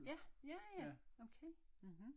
Ja ja ja okay mhm